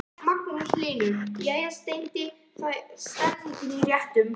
Magnús Hlynur: Jæja Steini, það er stemning í réttunum?